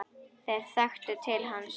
Þeir þekktu til hans.